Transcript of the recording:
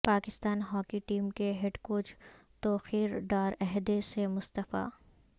Pakistan hockey team کے head coach Tauqeer Dar عہدے سے مستعفی